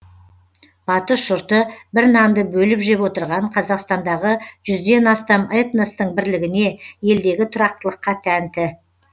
батыс жұрты бір нанды бөліп жеп отырған қазақстандағы жүзден астам этностың бірлігіне елдегі тұрақтылыққа тәнті